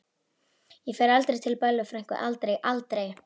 Ég fer aldrei til Bellu frænku, aldrei, aldrei.